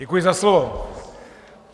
Děkuji za slovo.